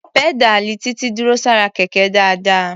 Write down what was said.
Pẹ́dáàlì Títí dúró sára Kẹ̀kẹ́ dáadáa.